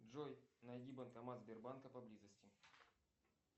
джой найди банкомат сбербанка поблизости